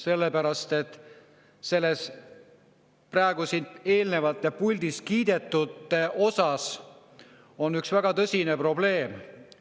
Eelnevalt siin puldis kiidetu puhul on üks väga tõsine probleem.